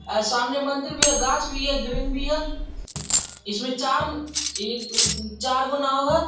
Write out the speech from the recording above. और सामने मंदिर भी है गाछ भी है ग्रीन भी है इसमें चार एक दो तीन चार चार गो नाव है।